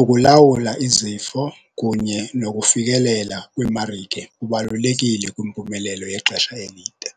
ukulawula izifo kunye nokufikelela kwiimarike kubalulekile kwimpumelelo yexesha elide.